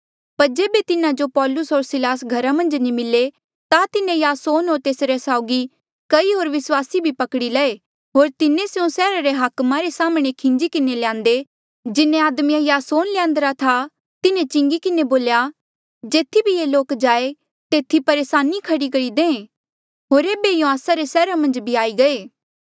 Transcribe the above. पर जेबे तिन्हा जो पौलुस होर सिलास घरा मन्झ नी मिले ता तिन्हें यासोन होर तेस साउगी कई होर विस्वासी भी पकड़ी लए होर तिन्हें स्यों सैहरा रे हाकमा रे साम्हणें खींजी किन्हें ल्यान्दे जिन्हें आदमिये यासोन ल्यान्द्रा था तिन्हें चिंगी किन्हें बोल्या जेथी भी ये लोक जाएं तेथी परेसानी खड़ी करी दे होर एेबे यूँ आस्सा रे सैहरा मन्झ भी आई गये